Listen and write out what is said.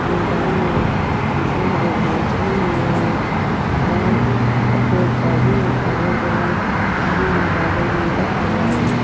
मैदान है जिसमे हरे घास जमे हुए है और पेड़-पौधे हैं अगल-बगल हरी है बादल नीला और लाल है।